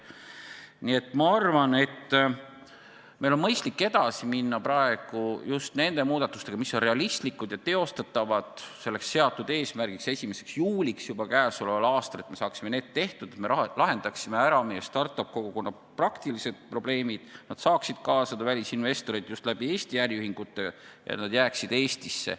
Nii et ma arvan, et meil on mõistlik edasi minna praegu just nende muudatustega, mis on realistlikud ja teostatavad selleks seatud tähtajaks, 1. juuliks juba käesoleval aastal, et me saaksime need tehtud, et me lahendaksime ära meie start-up-kogukonna praktilised probleemid ja nad saaksid kaasata välisinvestoreid just Eesti äriühingute kaudu ja jääksid Eestisse.